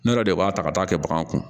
Ne yɛrɛ de b'a ta ka taa kɛ baganw kun